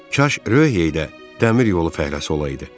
Kaş Ryohey də dəmir yolu fəhləsi olaydı.